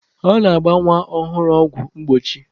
A na-agba nwa ọhụrụ ọgwụ mgbochi.